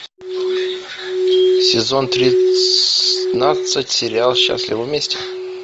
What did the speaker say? сезон тринадцать сериал счастливы вместе